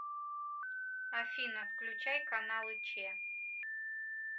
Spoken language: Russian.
афина включай каналы че